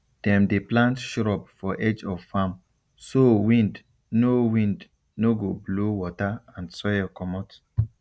dem dey plant shrub for edge of farm so wind no wind no go blow water and soil comot